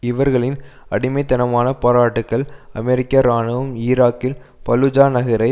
இவர்களின் அடிமைத்தனமான பாராட்டுக்கள் அமெரிக்க இராணுவம் ஈராக்கில் பலுஜா நகரை